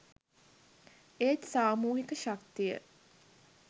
ඒත් සාමූහික ශක්තිය